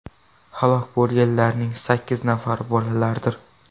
Halok bo‘lganlarning sakkiz nafari bolalardir.